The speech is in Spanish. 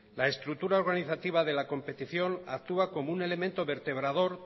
la estructura organizativa de la competición actúa como un elemento vertebrador